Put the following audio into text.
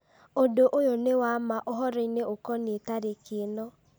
ũndũ ũyũ nĩ wa ma ũhoro-inĩ ũkoniĩ tarĩki ĩno